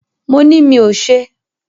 Mo ni mí ò ṣe.